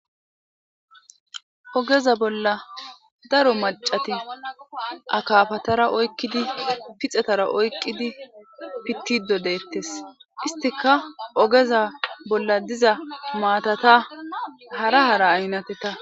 Ogeza bolla daro macat akapatara oykidi pixetara oykidi pide detes istika ogeza bolla daiza mtata hara hara aynateta